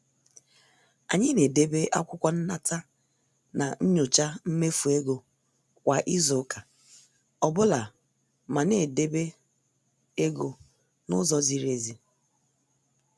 Anyị na- edebe akwụkwọ nnata na nyocha mmefu ego kwa izu ụka ọbụla mana e debe ego n' ụzọ ziri ezi.